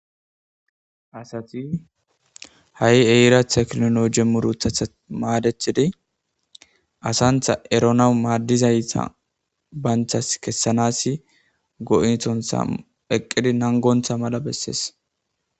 Asathi ha eera theknoolooje muruthatha maadeththidi asanththa eronawu maaddizayssa banththas kessanaassi go7ethonththa eqqidi nanggonththa mala besses.